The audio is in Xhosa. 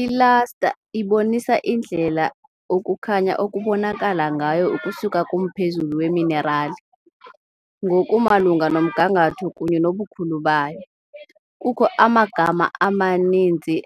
I-Luster ibonisa indlela ukukhanya okubonakala ngayo ukusuka kumphezulu weminerali, ngokumalunga nomgangatho kunye nobukhulu bayo. Kukho amagama amaninzi